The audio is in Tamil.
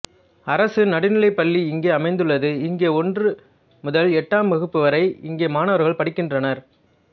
அரசு நடுநிலை பள்ளி இங்கே அமைந்துள்ளது இங்கு ஓன்று முதல் எட்டாம் வகுப்பு வரை இங்கே மாணவர்கள் படிக்கின்றனர்